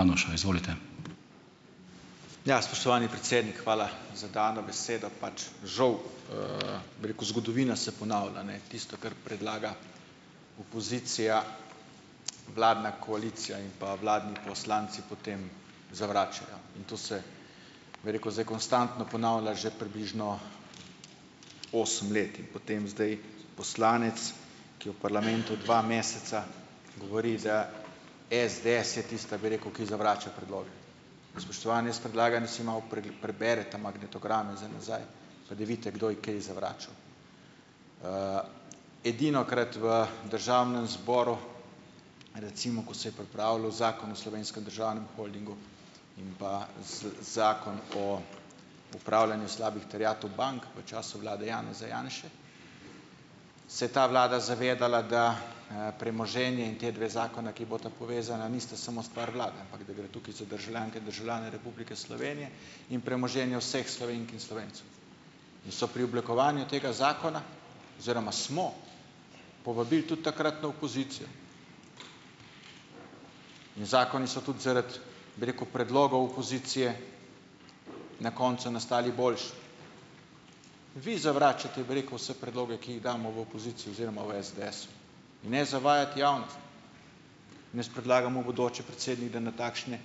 vanuša, izvolite. Ja, spoštovani predsednik, hvala za dano besedo, pač, žal, bi rekel, zgodovina se ponavlja, ne, tisto, kar predlaga pozicija, vladna koalicija, in pa vladni poslanci potem zavračajo in to se, bi rekel, zdaj konstantno ponavlja že približno osem let, potem zdaj poslanec, ki je v parlamentu dva meseca, govori, da SDS je tista, bi rekel, ki zavrača predloge, spoštovani, jaz predlagam, preberete magnetograme za nazaj pa da vidite, kdo je kaj zavračal, edinokrat v državnem zboru, recimo, ko se je pripravljal zakon o slovenskem državnem holdingu in pa z zakon o upravljanju slabih terjatev bank v času vlade Janeza Janše, se je ta vlada zavedala, da, premoženje in te dve zakona, ki bosta povezana, nista samo stvar glave, ampak da gre tukaj za državljane in državljanke Republike Slovenije in premoženje vseh Slovenk in Slovencev, so pri oblikovanju tega zakona oziroma smo povabili tudi takratno opozicijo in zakoni so tudi zaradi, bi rekel, predlogov opozicije na koncu nastali boljši, vi zavračate, bi rekel, vse predloge, ki jih damo v opozicijo, oziroma v SDS, ne zavajati javnosti, jaz predlagam v bodoče, predsednik, da na takšne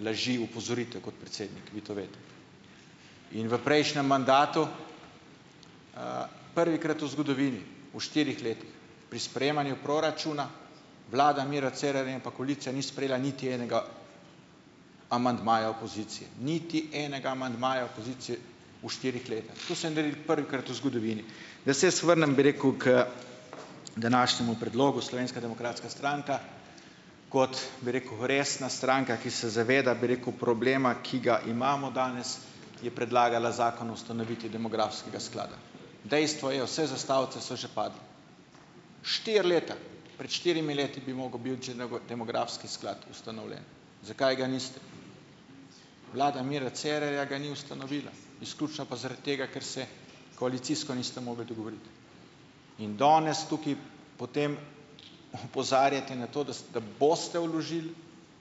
laži opozorite kot predsednik, vi to veste, in v prejšnjem mandatu, prvikrat v zgodovini v štirih letih pri sprejemanju proračuna vlada Mira Cerarja in pa koalicija ni sprejela niti enega amandmaja opozicije niti enega amandmaja opozicije, v štirih letih to so naredili prvikrat v zgodovini, da se jaz vrnem, bi rekel, k današnjemu predlogu Slovenska demokratska stranka kot, bi rekel, resna stranka, ki se zaveda, bi rekel, problema, ki ga imamo danes, je predlagala zakon o ustanovitvi demografskega sklada, dejstvo je, vse zastavice so že padle, štiri leta, pred štirimi leti bi mogel demografski sklad ustanovljen, zakaj ga niste, vlada Mira Cerarja ga ni ustanovila izključno pa zaradi tega, ker se koalicijsko niste mogli dogovoriti in danes tukaj po tem opozarjate na to, da da boste vložili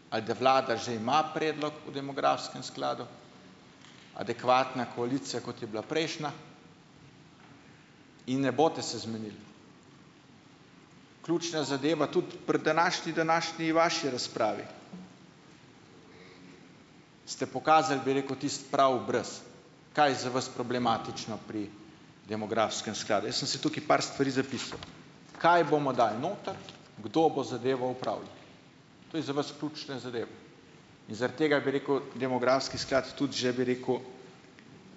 ali da vlada že ima predlog o demografskem skladu. adekvatna koalicija, kot je bila prejšnja, in ne boste se zmenili, ključna zadeva, tudi pri današnji, današnji vaši razpravi ste pokazali, bi rekel, tisti prav obraz, kaj je za vas problematično pri demografskem skladu, jaz sem si tukaj par stvari zapisal, kaj bomo dali noter, kdo bo zadevo upravljal, to je za vas ključna zadeva in zaradi tega, bi rekel, demografski sklad tudi že, bi rekel,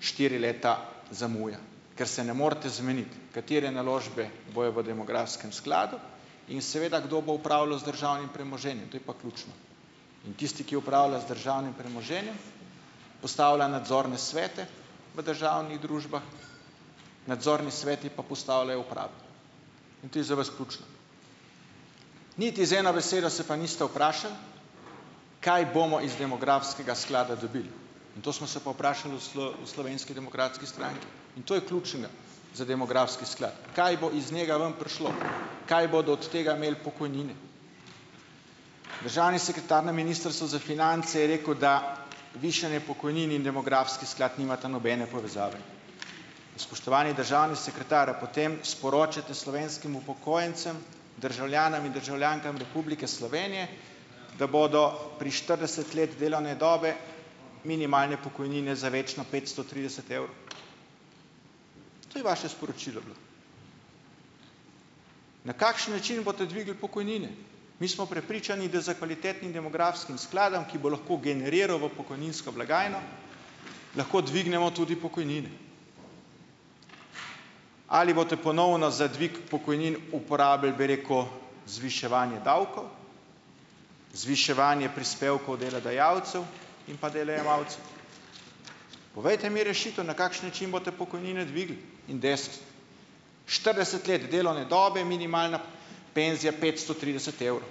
štiri leta zamuja, ker se ne morete zmeniti, katere naložbe bojo v demografskem skladu in seveda, kdo bo upravljal z državnim premoženjem, to je pa ključno, in tisti, ki upravlja z državnim premoženjem, postavlja nadzorne svete v državnih družbah, nadzorni sveti pa postavljajo uprave in to je za vas ključno, niti z eno besedo se pa niste vprašali, kaj bomo iz demografskega sklada dobili, to smo se pa vprašali v v Slovenski demokratski stranki in to je ključ, ne, za demografski sklad, kaj bo iz njega ven prišlo, kaj bodo od tega imeli pokojnine, državni sekretar na ministrstvu za finance je rekel, da višanje pokojnin in demografski sklad nimata nobene povezave, spoštovani državni sekretar, a potem sporočate slovenskim upokojencem državljanom in državljankam Republike Slovenije da bodo pri štirideset let delovne dobe minimalne pokojnine za večno petsto trideset evrov. To je vaše sporočilo. Na kakšen način boste dvignili pokojnine? Mi smo prepričani, da s kvalitetnim demografskim skladom, ki bo lahko generiral v pokojninsko blagajno, lahko dvignemo tudi pokojnine. Ali boste ponovno za dvig pokojnin uporabili, bi rekel, zviševanje davkov, zviševanje prispevkov delodajalcev in pa delojemalcem? Povejte mi rešitev, na kakšen način boste pokojnine dvignili. Štirideset let delovne dobe je minimalna penzija petsto trideset evrov,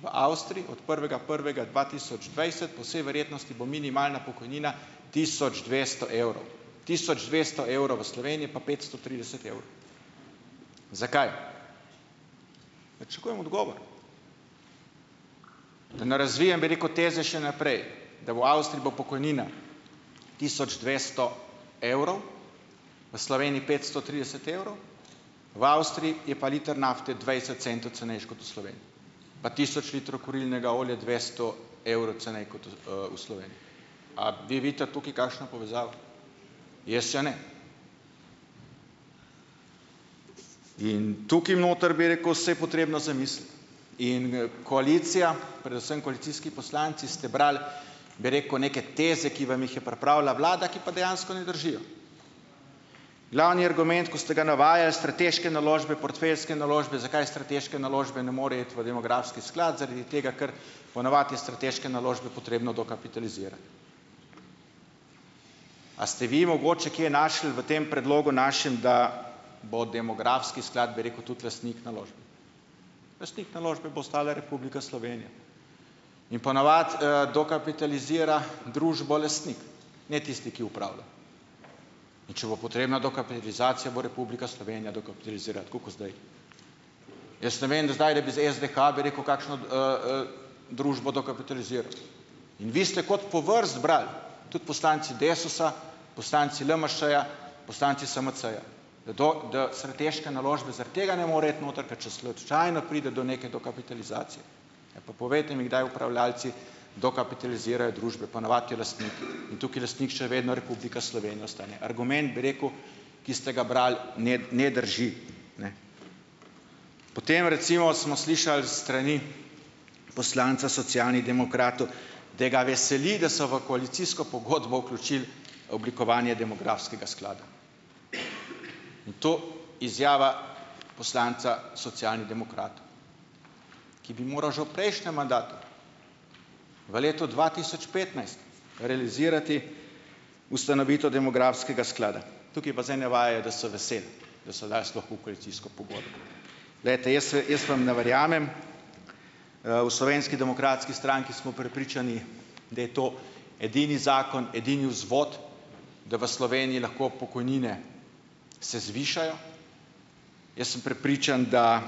v Avstriji od prvega prvega dva tisoč dvajset po vsej verjetnosti bo minimalna pokojnina tisoč dvesto evrov, tisoč dvesto evrov v Sloveniji pa petsto trideset evrov. Zakaj? Pričakujem odgovor, da ne razvijem, bi rekel, teze še naprej, da v Avstriji bo pokojnina tisoč dvesto evrov, v Sloveniji petsto trideset evrov, v Avstriji je pa liter nafte dvajset centov cenejši kot v Sloveniji pa tisoč litrov kurilnega olja dvesto evrov ceneje kot v, Sloveniji. A vi vidite tukaj kakšno povezavo? Jaz jo ne in tukaj noter, bi rekel, se je potrebno zamisliti in, koalicija, predvsem koalicijski poslanci ste brali, bi rekel, neke teze, ki vam jih je pripravila vlada, ki pa dejansko ne držijo, glavni argument, ko ste ga navajali, strateške naložbe, portfeljske naložbe, zakaj strateške naložbe ne morejo iti v demografski sklad, zaradi tega, ker ponavadi je strateške naložbe potrebno dokapitalizirati. A ste vi mogoče kje našli v tem predlogu našem, da bo demografski sklad, bi rekel, tudi lastnik naložbe? Lastnik naložbe bo ostala Republika Slovenija in ponavadi, dokapitalizira družbo lastnik, ne tisti, ki opravlja, in če bo potrebna dokapitalizacija, bo Republika Slovenija dokapitalizirala tako kot zdaj družbo dokapitaliziral in vi ste kot po vrsti brali, tudi poslanci Desusa, poslanci LMŠ-ja, poslanci SMC-ja, da to, da strateške naložbe zaradi tega ne morejo iti noter, ker če slučajno pride do neke dokapitalizacije, pa povejte mi, kdaj upravljalci dokapitalizirajo družbe, ponavadi je lastnik, in tukaj je lastnik še vedno Republika Slovenija, ostaja argument, bi rekel, ki ste ga brali, ne, ne drži, potem recimo smo slišali s strani poslanca Socialnih demokratov, da ga veseli, da so v koalicijsko pogodbo vključili oblikovanje demografskega sklada, in to izjava poslanca Socialnih demokratov, ki bi moral že v prejšnjem mandatu v letu dva tisoč petnajst realizirati ustanovitev demografskega sklada, tukaj pa zdaj navajajo, da so veseli, da so dali sploh v koalicijsko pogodbo, glejte, jaz, jaz vam ne verjamem, v Slovenski demokratski stranki smo prepričani, da je to edini zakon, edini vzvod, da v Sloveniji lahko pokojnine se zvišajo, jaz sem prepričan, da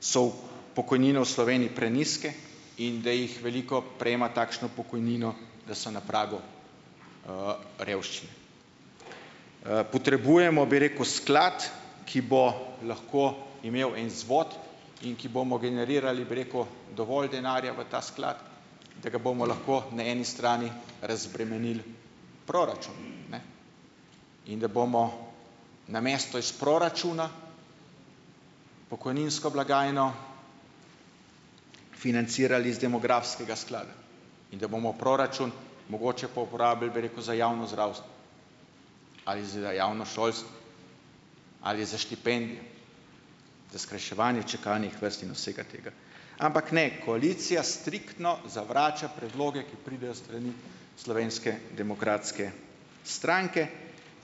so pokojnine v Sloveniji prenizke in da jih veliko prejema takšno pokojnino, da so na pragu, revščine, potrebujemo, bi rekel, sklad, ki bo lahko imel en vzvod in ki bomo generirali, bi rekel, dovolj denarja v ta sklad, da ga bomo lahko na eni strani razbremenil proračun, ne, in da bomo namesto iz proračuna pokojninsko blagajno financirali iz demografskega sklada in da bomo proračun mogoče pa uporabili za javno zdravstvo ali za javno šolstvo ali za štipendije za skrajševanje čakalnih vrst in vsega tega, ampak ne, koalicija striktno zavrača predloge, ki pridejo s strani Slovenske demokratske stranke,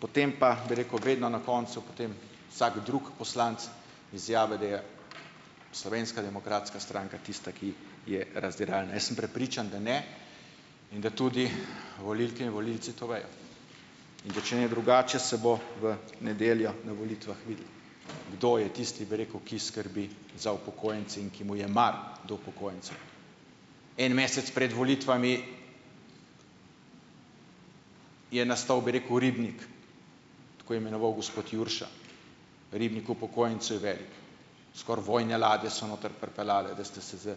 potem pa, bi rekel, vedno na koncu potem vsak drug poslanec izjavi, da je Slovenska demokratska stranka tista, ki je razdiralna, jaz sem prepričan, da ne in da tudi volilke in volilci to vejo, in da če ne drugače, se bo v nedeljo na volitvah videlo, kdo je tisti, bi rekel, ki skrbi za upokojence in ki mu je mar do upokojencev, en mesec pred volitvami je nastal bi rekel ribnik, tako imenoval gospod Jurša, ribnik upokojencev je velik, skoraj vojne ladje so notri pripeljale, da ste se s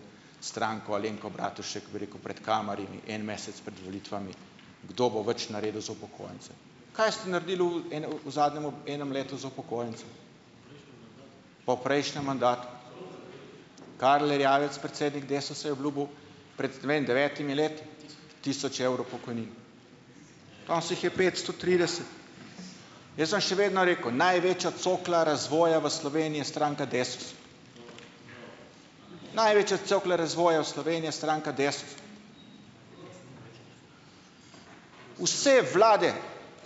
stranko Alenko Bratušek, bi rekel, pred kamerami en mesec pred volitvami, kdo bo več naredil za upokojence, kaj ste naredili v enem, v zadnjem enem letu za upokojence po prejšnjem mandatu, Karel Erjavec, predsednik Desusa, je obljubil pred devetimi leti tisoč evrov pokojnine, o saj jih je petsto trideset, jaz bom še vedno rekel, največja cokla razvoja v Sloveniji je stranka Desus, največja cokla razvoja v Sloveniji je stranka Desus, vse vlade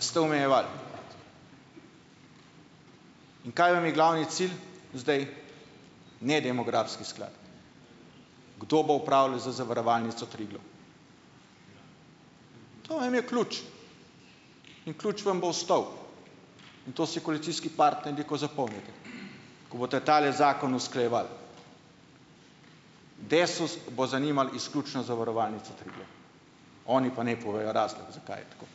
ste omejevali in kaj vam je glavni cilj zdaj? Ne demografski sklad, kdo bo upravljal z zavarovalnico Triglav, to vam je ključ in ključ vam bo stal in to se koalicijski partnerji, ko zapomnite, ko boste tale zakon usklajevali, Desus bo zanimal izključno zavarovalnico Triglav, oni pa ne povejo razlog, zakaj je tako.